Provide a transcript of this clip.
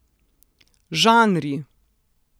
Žanri!